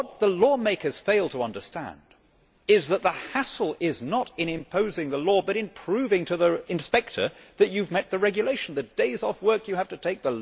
What the lawmakers fail to understand is that the hassle lies not in imposing the law, but in proving to the inspector that you have complied with the regulation the days off work you have to take